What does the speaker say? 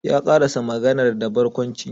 Ya karasa maganar da barkwanci